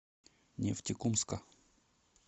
нефтекумска